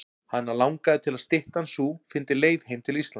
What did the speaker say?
Hana langaði til að styttan sú fyndi leið heim til Íslands.